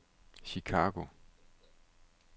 Chicago